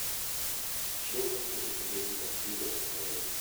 Chiemo ni nigi apilo mang'eny